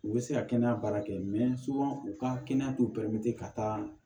U bɛ se ka kɛnɛya baara kɛ u ka kɛnɛya t'u ka taa